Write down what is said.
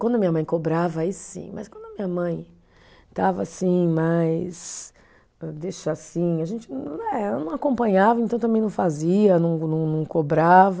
Quando a minha mãe cobrava, aí sim, mas quando a minha mãe estava assim, mais, deixa assim, a gente eh, não acompanhava, então também não fazia, não não não cobrava.